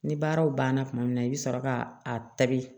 Ni baaraw banna tuma min na i bi sɔrɔ ka a tabi